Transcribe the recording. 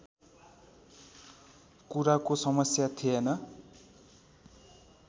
कुराको समस्या थिएन